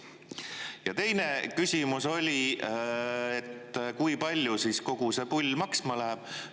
Ja teine küsimus oli, et kui palju kogu see pull maksma läheb.